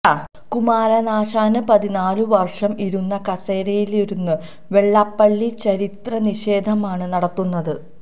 കുമാരനാശാന് പതിനാല് വര്ഷം ഇരുന്ന കസേരയിലിരുന്ന് വെള്ളാപ്പള്ളി ചരിത്ര നിഷേധമാണ് നടത്തുന്നത്